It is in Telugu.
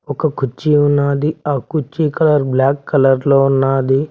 ఒక కుర్చీ ఉన్నాది ఆ కుర్చీ కలర్ బ్లాక్ కలర్లో ఉన్నాది.